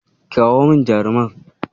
Kirawo min jarumar.